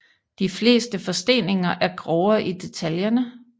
De fleste forsteninger er grovere i detaljerne